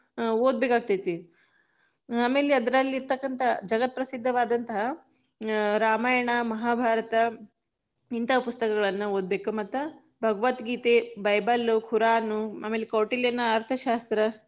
ಓದಬೇಕ ಆಗ್ತೇತಿ, ಆಮೇಲೆ ಅದ್ರಲ್ಲಿ ಇರ್ತಕ್ಕಂತ ಜಗತ್ತ ಪ್ರಸಿದ್ಧವಾದಂತ, ರಾಮಾಯಣ ಮಹಾಭಾರತ ಇಂತಾ ಪುಸ್ತಕಗಳನ್ನ ಓದಬೇಕ, ಮತ್ತ ಭಗವತ್ ಗೀತೆ, ಬೈಬಲ್, ಕುರಾನ್ ಆಮೇಲೆ ಕೌಟಿಲ್ಯನ ಅರ್ಥ ಶಾಸ್ತ್ರ.